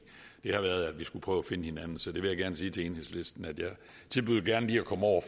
det har været at vi skulle prøve at finde hinanden så jeg vil sige til enhedslisten at jeg tilbyder gerne lige at komme over